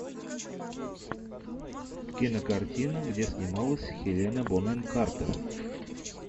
кинокартина где снималась хелена бонэм картер